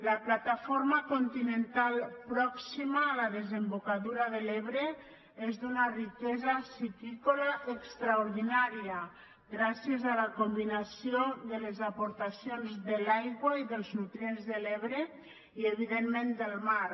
la plataforma continental pròxima a la desembocadura de l’ebre és d’una riquesa piscícola extraordinària gràcies a la combinació de les aportacions de l’aigua i dels nutrients de l’ebre i evidentment del mar